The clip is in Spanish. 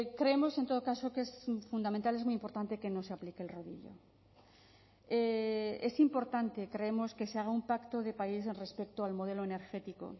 creemos en todo caso que es fundamental es muy importante que no se aplique el rodillo es importante creemos que se haga un pacto de país respecto al modelo energético